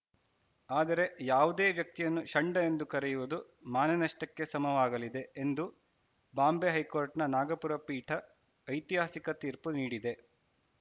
ಆದರೆ ಯಾವುದೇ ವ್ಯಕ್ತಿಯನ್ನು ಷಂಡ ಎಂದು ಕರೆಯುವುದು ಮಾನನಷ್ಟಕ್ಕೆ ಸಮವಾಗಲಿದೆ ಎಂದು ಬಾಂಬೆ ಹೈಕೋರ್ಟ್‌ನ ನಾಗಪುರ ಪೀಠ ಐತಿಹಾಸಿಕ ತೀರ್ಪು ನೀಡಿದೆ